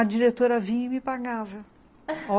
A diretora vinha e me pagava